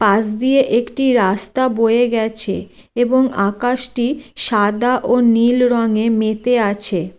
পাশ দিয়ে একটি রাস্তা বয়ে গেছে | এবং আকাশ টি সাদা ও নীল রঙ্গে মেতে আছে |